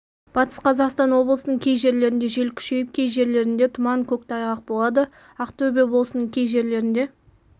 батыс қазақстан облысының кей жерлерінде жел күшейіп кей жерлерінде тұман көктайғақ болады ақтөбе облысының кей жерлерінде